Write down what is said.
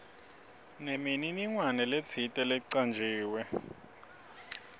nemininingwane letsite lecanjiwe